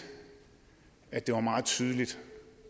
at det var meget tydeligt